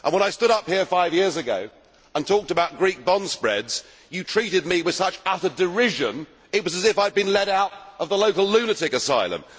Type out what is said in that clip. And when I stood up here five years ago and talked about Greek bond spreads you treated me with such utter derision, it was as if I had been led out of the local lunatic asylum.